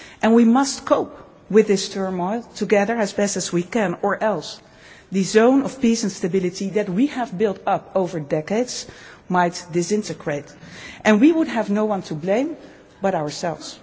We must cope with this turmoil together, as best we can, or else the zone of peace and stability that we have built up over decades might disintegrate, and we would have no one to blame but ourselves.